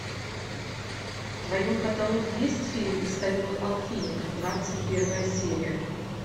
в твоем каталоге есть фильм стальной алхимик двадцать первая серия